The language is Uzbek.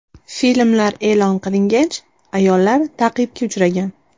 Filmlar e’lon qilingach, ayollar ta’qibga uchragan.